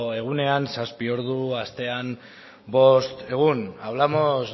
egunean zazpi ordu astean bost egun hablamos